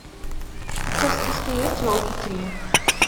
у тебя в списке есть елки три